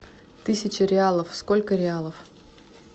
тысяча реалов сколько реалов